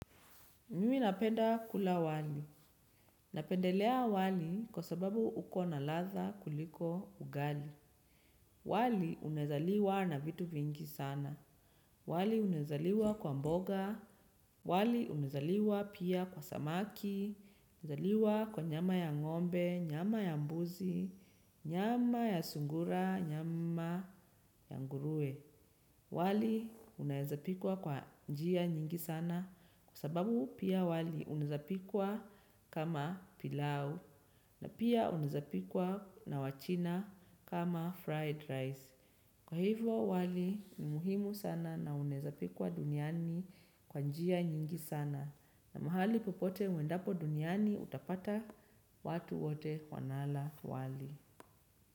Mimi napenda kula wali. Napendelea wali kwa sababu uko na ladha kuliko ugali. Wali unaezaliwa na vitu vingi sana. Wali unezaliwa kwa mboga. Wali unezaliwa pia kwa samaki. Unaezaliwa kwa nyama ya ng'ombe, nyama ya mbuzi, nyama ya sungura, nyama ya nguruwe. Wali unaezapikwa kwa njia nyingi sana kwa sababu pia wali unaezapikwa kama pilau na pia unaezapikwa na wachina kama fried rice. Kwa hivo wali ni muhimu sana na unaezapikwa duniani kwa njia nyingi sana na mahali popote uendapo duniani utapata watu wote wanala wali.